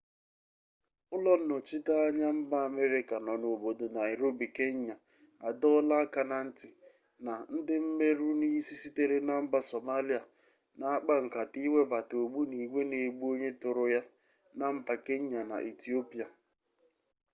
ulo-nnochita-anya mba ameriaca no na obodo nairobi kenya adoola aka-na-nti na ndi-mmeru-nisi sitere na mba somalia na akpa-nkata iwebata ogbunigwe na-egbu-onye-turu-ya na mba kenya na ethiopia